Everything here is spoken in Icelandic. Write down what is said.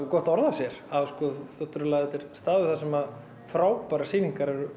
gott orð á sér þetta er staður þar sem frábærar sýningar eru